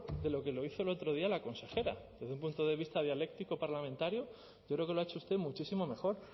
de lo que lo hizo el otro día la consejera desde un punto de vista dialéctico parlamentario yo creo que lo ha hecho usted muchísimo mejor